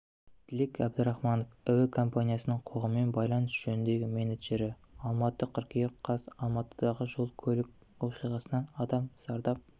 тілек әбдірахымов әуе компаниясының қоғаммен байланыс жөніндегі менеджері алматы қыркүйек қаз алматыдағы жол-көлік оқиғасынан адам зардап